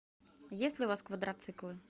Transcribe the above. есть ли у вас квадроциклы